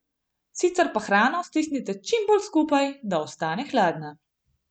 Sicer pa hrano stisnite čim bolj skupaj, da ostane hladna.